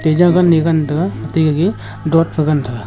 e gan taiga te gagey doad fa gan tega.